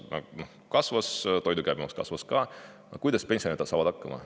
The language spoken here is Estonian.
] Kui käibemaks kasvas ja toidu käibemaks kasvas ka, siis kuidas pensionärid hakkama saavad.